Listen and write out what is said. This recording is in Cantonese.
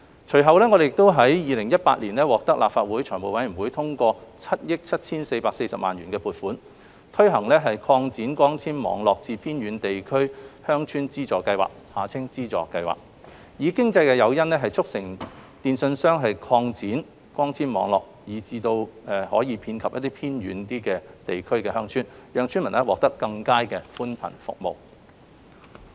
隨後，我們於2018年獲立法會財務委員會通過7億 7,440 萬元的撥款，推行擴展光纖網絡至偏遠地區鄉村資助計劃，以經濟誘因，促成電訊商擴展光纖網絡至位於偏遠地區的鄉村，讓村民獲得更佳的寬頻服務。